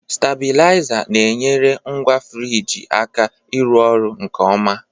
Stabilizer na-enyere ngwa frigi aka ịrụ ọrụ nke ọma